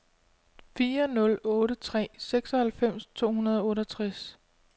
fire nul otte tre seksoghalvfems to hundrede og otteogtres